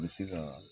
N bɛ se ka